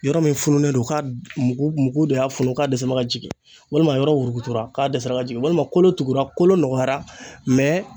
Yɔrɔ min fununen do k'a mugu de y'a funu k'a dɛsɛ n bɛ ka jigin walima a yɔrɔ wurukutura k'a dɛsɛra ka jigin walima kolo tugula kolo nɔgɔyara